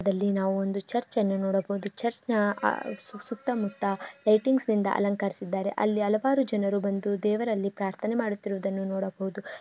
ಇದರಲ್ಲಿ ನಾವು ಒಂದು ಚರ್ಚನ್ನು ನೋಡಬಹುದು ಚರ್ಚ್ ನ ಆಹ್ ಸು ಸುತ್ತಮುತ್ತ ಲೈಟಿಂಗ್ಸ್ ನಿಂದ ಅಲಂಕರಿಸಿದ್ದಾರೆ ಅಲ್ಲಿ ಹಲವಾರು ಜನರು ಬಂದು ದೇವರಲ್ಲಿ ಪ್ರಾರ್ಥನೆ ಮಾಡುತ್ತಿರುವುದನ್ನು ನೋಡಬಹುದು.